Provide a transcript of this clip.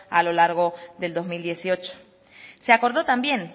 a lo largo del dos mil dieciocho se acordó también